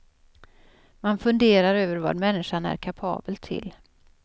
Man funderar över vad människan är kapabel till.